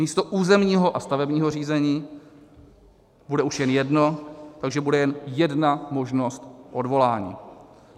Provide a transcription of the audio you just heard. Místo územního a stavebního řízení bude už jen jedno, takže bude jen jedna možnost odvolání.